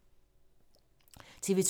TV 2